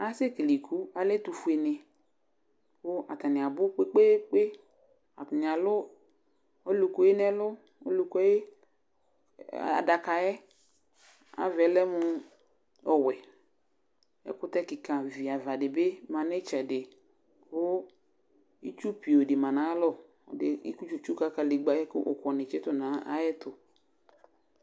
Ase kele iku, alɛ ɛtʋfue nɩ Kʋ atani abu kpekpekpe Atani alu oluku yɛ nʋ ɛlʋ Olukuadaka yɛ ayʋ ava yɛ lɛ mʋ ɔwɛ Ɛkʋtɛ kika viava di bɩ ma nʋ ɩtsɛdɩ, kʋ itsupioo di ma nʋ ayalɔ Ɛdɩ etsikǝ itsulegbǝ ayʋ ɛkʋ ni kʋ uku ni tsitu nʋ ayɛtʋ